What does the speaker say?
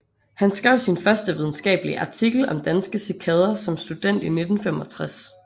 Han skrev sin første videnskabelige artikel om danske cikader som student i 1965